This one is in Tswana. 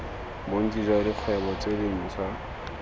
bontsi jwa dikgwebo tse dintshwa